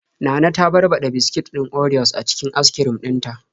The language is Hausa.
Nana ta barbaɗa biskit din orios a cikin askrim din ta.